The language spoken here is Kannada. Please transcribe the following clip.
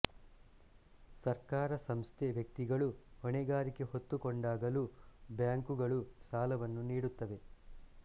ಸರ್ಕಾರ ಸಂಸ್ಥೆ ವ್ಯಕ್ತಿಗಳು ಹೊಣೆಗಾರಿಕೆ ಹೊತ್ತು ಕೊಂಡಾಗಲೂ ಬ್ಯಾಂಕುಗಳು ಸಾಲವನ್ನು ನೀಡುತ್ತವೆ